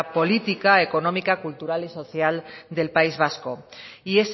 política económica cultural y social del país vasco y